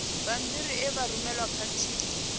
bammbiri e vha rumelwa khathihi